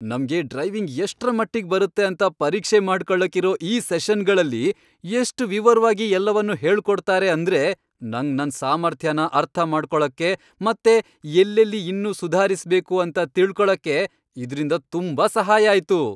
ನಮ್ಗೆ ಡ್ರೈವಿಂಗ್ ಎಷ್ಟ್ರಮಟ್ಟಿಗ್ ಬರತ್ತೆ ಅಂತ ಪರೀಕ್ಷೆ ಮಾಡ್ಕೊಳಕ್ಕಿರೋ ಈ ಸೆಷನ್ಗಳಲ್ಲಿ ಎಷ್ಟ್ ವಿವರ್ವಾಗಿ ಎಲ್ಲವನೂ ಹೇಳ್ಕೊಡ್ತಾರೆ ಅಂದ್ರೆ ನಂಗ್ ನನ್ ಸಾಮರ್ಥ್ಯನ ಅರ್ಥ ಮಾಡ್ಕೊಳಕ್ಕೆ ಮತ್ತೆ ಎಲ್ಲೆಲ್ಲಿ ಇನ್ನೂ ಸುಧಾರಿಸ್ಬೇಕು ಅಂತ ತಿಳ್ಕೊಳಕ್ಕೆ ಇದ್ರಿಂದ ತುಂಬಾ ಸಹಾಯ ಆಯ್ತು.